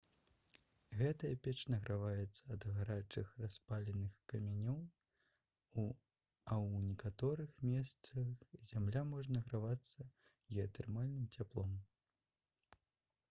гэтая печ награваецца ад гарачых распаленых камянёў а ў некаторых месцах зямля можа награвацца геатэрмальным цяплом